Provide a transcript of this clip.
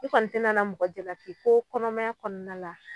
I kɔni tɛna na mɔgɔ jalaki ko kɔnɔmanya kɔnɔna la,